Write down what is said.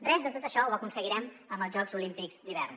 res de tot això ho aconseguirem amb els jocs olímpics d’hivern